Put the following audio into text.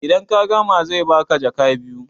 idan ka gama zai baka jaka biyu